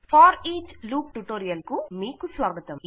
for each loop tutorial కు మీకు స్వాగతం